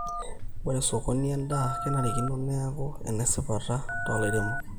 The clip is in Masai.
ore sokoni endaa kenarikino neeku enesipata toolairemok